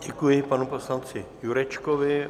Děkuji panu poslanci Jurečkovi.